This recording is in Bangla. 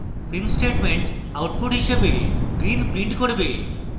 print statement output হিসাবে green print করবে